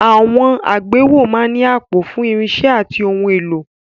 Àwọn àgbéwọ̀ máa ń ní àpò fún irinṣẹ́ àti ohun èlò.